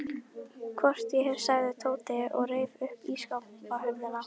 Hvort ég hef, sagði Tóti og reif upp ísskápshurðina.